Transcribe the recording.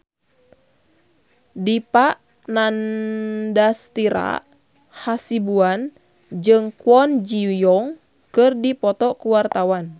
Dipa Nandastyra Hasibuan jeung Kwon Ji Yong keur dipoto ku wartawan